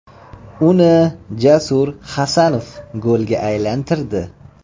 Uni Jasur Hasanov golga aylantirdi.